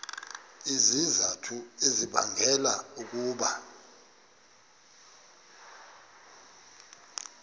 izizathu ezibangela ukuba